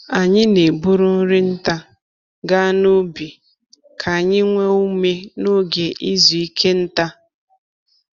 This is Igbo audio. Anyị na-eburu nri nta ga n'ubi ka anyị nwee ume n’oge izu ike nta.